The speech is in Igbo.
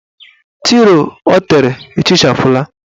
Tiro o tere ehichapụla.